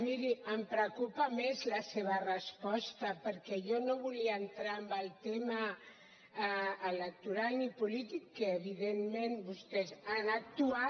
miri em preocupa més la seva resposta perquè jo no volia entrar en el tema electoral ni polític que evidentment vostès han actuat